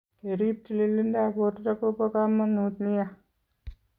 Ke riib tililindoap borto ko po kamanut nia.